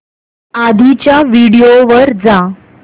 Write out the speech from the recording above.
आधीच्या व्हिडिओ वर जा